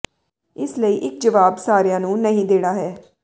ਇਸ ਲਈ ਇਕ ਜਵਾਬ ਸਾਰਿਆਂ ਨੂੰ ਨਹੀਂ ਦੇਣਾ ਹੈ